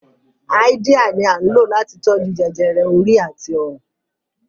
Háídíà ni à ń lò láti tó jú jẹjẹrẹ orí àti ọrùn